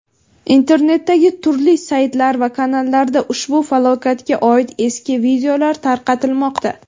Internetdagi turli saytlar va kanallarda ushbu falokatga oid eski videolar tarqatilmoqda.